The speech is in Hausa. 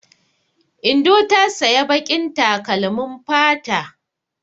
Indo ta saya baƙin takalmin fata.